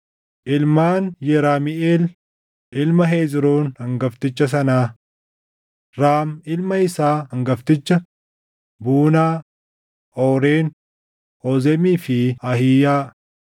Ilmaan Yeramiʼeel ilma Hezroon hangafticha sanaa: Raam ilma isaa hangafticha, Buunaah, Ooren, Oozemii fi Ahiiyaa.